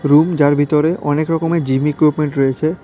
Room যার ভিতরে অনেক রকমের জিম ইক্যুপমেন্ট রয়েছে।